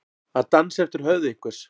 Að dansa eftir höfði einhvers